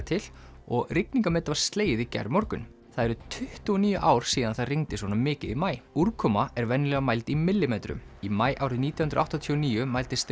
til og rigningarmet var slegið í gærmorgun það eru tuttugu og níu ár síðan það rigndi svona mikið í maí úrkoma er venjulega mæld í millimetrum í maí árið nítján hundruð áttatíu og níu mældist